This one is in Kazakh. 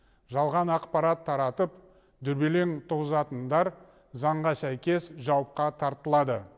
жалған ақпарат таратып дүрбелең туғызатындар заңға сәйкес жауапқа тартылады